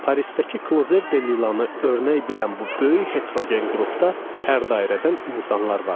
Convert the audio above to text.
Parisdəki "Clozer de Lila"nı örnək bilən bu böyük heterogen qrupda hər dairədən insanlar var idi.